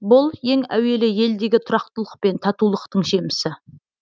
бұл ең әуелі елдегі тұрақтылық пен татулықтың жемісі